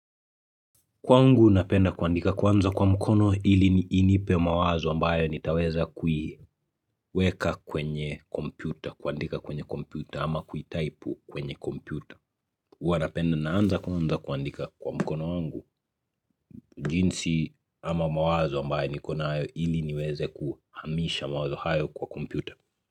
Kwangu napenda kuandika kwanza kwa mkono ili ni inipe mawazo ambayo nitaweza kuiweka kwenye kompyuta, kuandika kwenye kompyuta ama kuitaipu kwenye kompyuta. Huwa napenda naanza kwanza kuandika kwa mkono wangu. Jinsi ama mawazo ambayo niko nayo ili niweze kuhamisha mawazo hayo kwa kompyuta.